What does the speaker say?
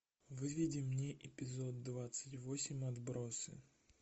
выведи мне эпизод двадцать восемь отбросы